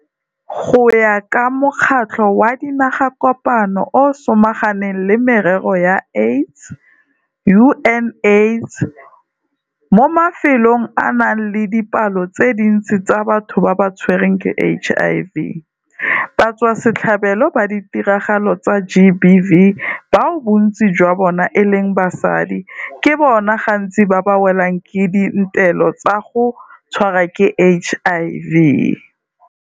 Go ya ka Mokgatlho wa Dinagakopano o o Samaganang le Merero ya AIDS, UNAIDS, mo mafelong a a nang le dipalo tse dintsi tsa batho ba ba tshwerweng ke HIV, batswasetlhabelo ba ditiragalo tsa GBV bao bontsi jwa bona e leng basadi ke bona gantsi ba ba welwang ke di ntelo tsa go tshwarwa ke HIV.